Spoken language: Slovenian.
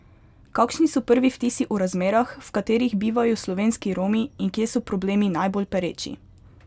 Kakšni so prvi vtisi o razmerah, v katerih bivajo slovenski Romi in kje so problemi najbolj pereči?